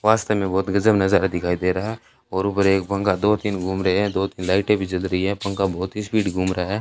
वास्तव में बहोत गजब नजर दिखाई दे रहा और ऊपर एक पंखा दो तीन घूम रहे हैं दो तीन लाइटें भी जल रही है पंखा बहोत ही स्पीड घूम रहा है।